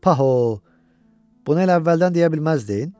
Paho, bunu elə əvvəldən deyə bilməzdin?